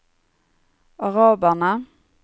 araberne